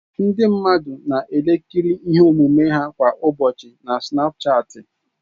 Ndị mmadụ na-ekerịta ihe omume ha kwa ụbọchị na Sinapuchati.